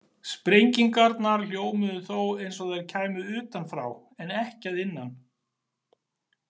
Sprengingarnar hljómuðu þó eins og þær kæmu utanfrá, en ekki að innan.